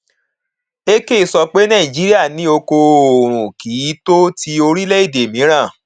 ekeh sọ pé nàìjíríà ní oko oòrùn kì í tó ti orílẹ èdè mìíràn